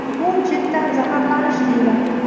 Bu chetdan zaharlanish deyiladi.